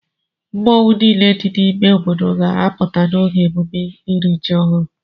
Mmọnwụ niile dị n'ime obodo ga-apụta n'oge emume iri ji ọhụrụ.